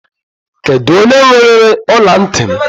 Kedụ onye weere ọla ntị m?